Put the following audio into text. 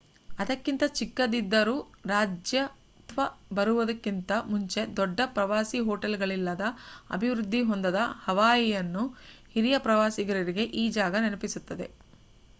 ಅದಕ್ಕಿಂತ ಚಿಕ್ಕದಿದ್ದರೂ ರಾಜ್ಯತ್ವ ಬರುವುದಕ್ಕಿಂತ ಮುಂಚೆ ದೊಡ್ಡ ಪ್ರವಾಸಿ ಹೊಟೇಲ್ಗಳಿಲ್ಲದ ಅಭಿವೃದ್ಧಿ ಹೊಂದದ ಹವಾಯಿಯನ್ನು ಹಿರಿಯ ಪ್ರವಾಸಿಗರಿಗೆ ಈ ಜಾಗ ನೆನಪಿಸುತ್ತದೆ